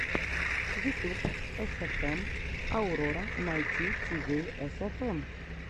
ютуб эсэфэм аурора найт тиви эсэфэм